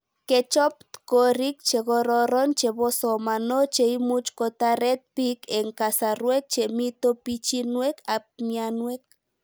Kechop tkorik che kororon cheposomano cheimuchi kotaret pik eng'kasarwek chemito pichinwek ab mianwek